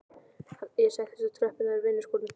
Ég settist á tröppurnar á vinnuskúrnum.